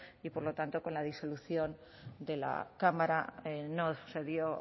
y por lo tanto con la disolución de la cámara no se dio